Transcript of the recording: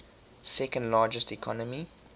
second largest economy